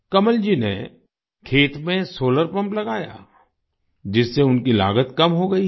कमलजी ने खेत में सोलार पम्प लगाया जिससे उनकी लागत कम हो गई है